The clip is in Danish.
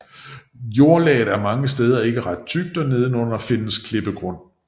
Jordlaget er mange steder ikke ret tykt og nedenunder findes klippegrund